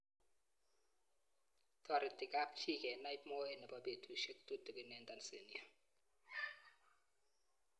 Tareti kapchii kenai moet nepo petusiek tutikin eng Tanzania.